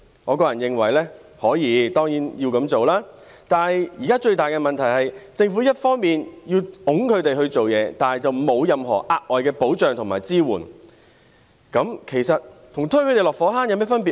我個人認為當然可以這樣做，但現在最大的問題是，政府既要推動他們工作，但卻沒有提供任何額外保障和支援，試問這跟推他們落火坑有何分別呢？